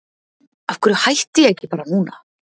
Af hverju hætti ég ekki bara núna?